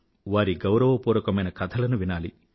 వారి గౌరవపూర్వకమైన కథలను వినాలి